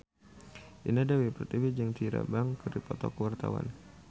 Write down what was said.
Indah Dewi Pertiwi jeung Tyra Banks keur dipoto ku wartawan